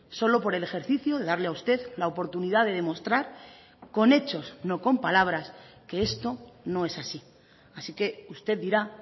solo por el ejercicio de darle a usted la oportunidad de demostrar con hechos no con palabras que esto no es así así que usted dirá